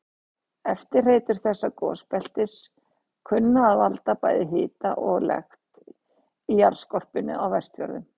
Eftirhreytur þessa gosbeltis kunna að valda bæði hita og lekt í jarðskorpunni á Vestfjörðum.